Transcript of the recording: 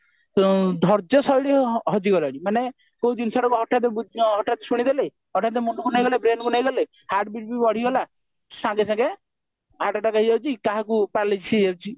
ଉ ଧର୍ଯ ଶୈଳୀ ହଜିଗଲାଣି ମାନେ ସେଇ ଜିନିଷଟା ହଠାତ ଶୁଣିଦେଲୁ ହଠାତ ମନକୁ ନେଇଗଲୁ ହଠାତ brainକୁ ନେଇଗଲୁ heart beat ବି ବଢିଗଲା ସଙ୍ଗେସଙ୍ଗେ heart attack ହେଇଯାଉଛି କାହାକୁ paralysis ହେଇଯାଉଛି